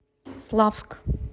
славск